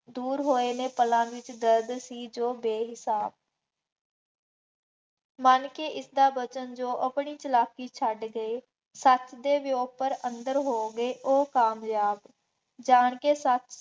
ਦੂਰ ਹੋੇਏ ਨੇ ਪਲਾਂ ਵਿੱਚ ਦਰਦ ਸੀ ਜੋ ਬੇਹਿਸਾਬ ਮੰਨ ਕੇ ਇਸਦ ਬਚਨ ਜੋ ਆਪਣੀ ਚਾਲਾਕੀ ਛੱਡ ਕੇ ਸੱਚ ਦੇ ਵਿਉਂ ਪਰ ਅੰਦਰ ਹੋ ਗਏ ਉਹ ਕਾਮਯਾਬ, ਜਾਣ ਕੇ ਸਭ